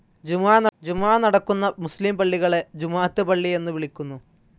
ജുമുഅ നടക്കുന്ന മുസ്‌ലിം പള്ളികളെ ജുമുഅത്ത് പള്ളി എന്നു വിളിക്കുന്നു.